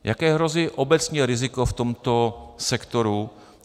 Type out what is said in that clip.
Jaké hrozí obecně riziko v tomto sektoru?